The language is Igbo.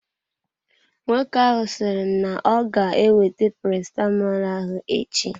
Nwoke ahụ sịrị na-oga ewete paracetamolu ahụ echi.